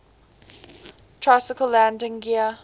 tricycle landing gear